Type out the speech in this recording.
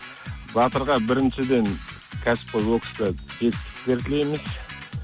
батырға біріншіден кәсіпқой бокста жетістіктер тілейміз